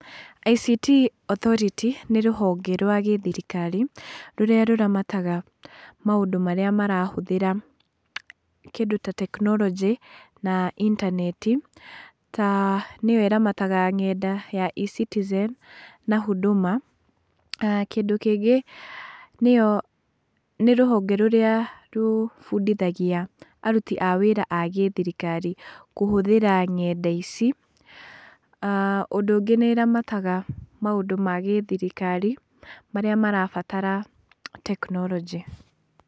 ICT Authority nĩ rũhonge rwa gĩthirikari, rũrĩa rũramataga maũndũ marĩa marahũthĩra kĩndũ ta tekinoronjĩ, na intaneti, ta nĩyo ĩramataga eCitizen, na Huduma. Kĩndũ kĩngĩ nĩyo, nĩ rũhonge rũrĩa rũbundithagia aruti a wĩra a gĩthirikari kũhũthĩra ng'enda ici. Ũndũ ũngĩ nĩ ĩramataga maũndũ ma gĩthirikari marĩa marabatara tekinoronjĩ.